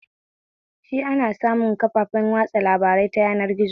Shi ana samun kafafen watsa labarai ta yanar gizo?